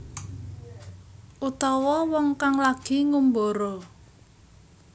Utawa wong kang lagi ngumbara